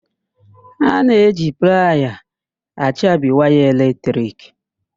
A na-eji playa achabi waya eletrik.